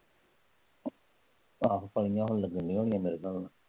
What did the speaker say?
ਲੱਗਣ ਰਹੀਆਂ ਮੇਰੇ ਹਿਸਾਬ ਹੁਣ।